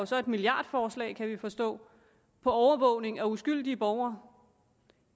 så et milliardforslag kan vi forstå på overvågning af uskyldige borgere